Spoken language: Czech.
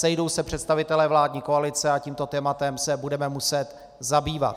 Sejdou se představitelé vládní koalice a tímto tématem se budeme muset zabývat.